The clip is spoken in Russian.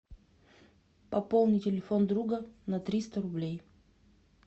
пополни телефон друга на триста рублей